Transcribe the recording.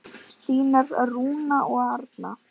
Þínar Rúna og Arna.